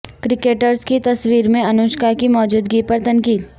cricketers کی تصویر میں انوشکا کی موجودگی پر تنقید